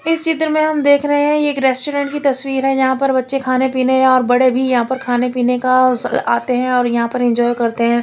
इस चित्र में हम देख रहे है ये एक रेस्टोरेंट कि तस्वीर है जहाँ पर बच्चे खाने पिने और बड़े भी या पर खाने पिने का स आते है और यहाँ पर इंजॉय करते है।